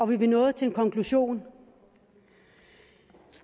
vi nåede til en konklusion